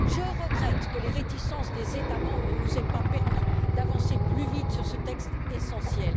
Je regrette que les réticences des États membres ne nous aient pas permis d'avancer plus vite sur ce texte essentiel.